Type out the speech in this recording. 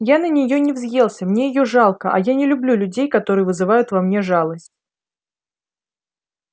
я на неё не взъелся мне её жалко а я не люблю людей которые вызывают во мне жалость